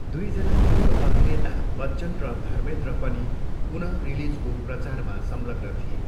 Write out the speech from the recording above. दुईजना मूल अभिनेता बच्चन र धर्मेन्द्र पनि पुन रिलिजको प्रचारमा संलग्न थिए।